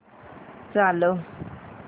चालव